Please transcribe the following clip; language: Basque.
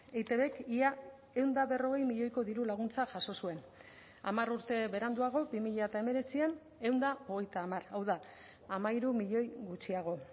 eitbk ia ehun eta berrogei milioiko diru laguntza jaso zuen hamar urte beranduago bi mila hemeretzian ehun eta hogeita hamar hau da hamairu milioi gutxiago